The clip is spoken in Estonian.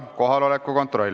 Kohaloleku kontroll.